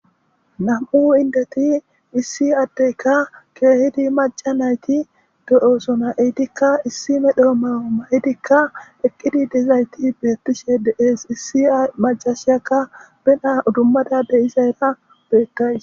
"Nam'u inddeti issi addeyika keehidi macca nayti de'osona eetikka issi medho mayo mayidikka eqqidi dizayti beetishe de'ees issi maccasiyakka be na'a udumada de'izaysa beetayis."